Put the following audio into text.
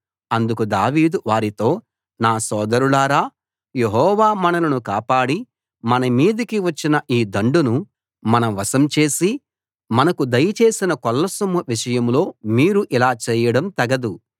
అందుకు దావీదు వారితో నా సోదరులారా యెహోవా మనలను కాపాడి మనమీదికి వచ్చిన ఈ దండును మన వశం చేసి మనకు దయచేసిన కొల్ల సొమ్ము విషయంలో మీరు ఇలా చేయడం తగదు